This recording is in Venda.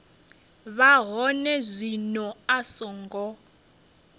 vha hone zwino a songo